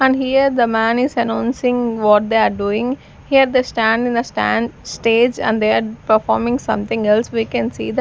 and here the man is announcing what they are doing here they stand in a stand stage and they are performing something else we can see the --